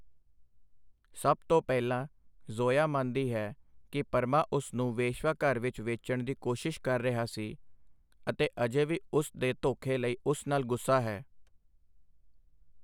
ਸਭ ਤੋਂ ਪਹਿਲਾਂ, ਜ਼ੋਇਆ ਮੰਨਦੀ ਹੈ ਕਿ ਪਰਮਾ ਉਸ ਨੂੰ ਵੇਸ਼ਵਾਘਰ ਵਿਚ ਵੇਚਣ ਦੀ ਕੋਸ਼ਿਸ਼ ਕਰ ਰਿਹਾ ਸੀ ਅਤੇ ਅਜੇ ਵੀ ਉਸ ਦੇ ਧੋਖੇ ਲਈ ਉਸ ਨਾਲ ਗੁੱਸਾ ਹੈ।